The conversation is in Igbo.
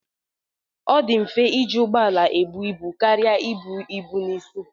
Ọ dị mfe iji ụgbọ ala ebu ibu karịa ibu ibu n'isi